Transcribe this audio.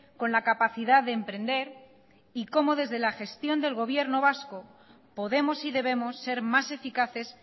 con la capacidad de emprender y cómo desde la gestión del gobierno vasco podemos y debemos ser más eficaces